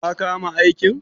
Ka kama aikin?